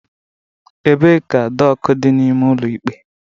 Ebee ka doku dị n'ime ụlọ ikpe?